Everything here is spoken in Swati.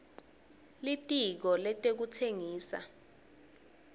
litiko letekutsengisa